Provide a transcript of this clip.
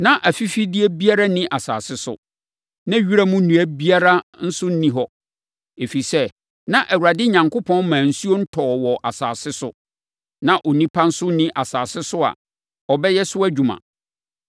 Na afifideɛ biara nni asase so, na wiram nnua biara nso nni hɔ. Ɛfiri sɛ, na Awurade Onyankopɔn mmaa nsuo ntɔɔ wɔ asase so, na onipa nso nni asase so a ɔbɛyɛ so adwuma.